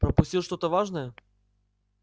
пропустил что-то важное